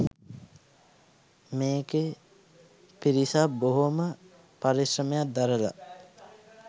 මේකේ පිරිසක් බොහොම පරිශ්‍රමයක් දරලා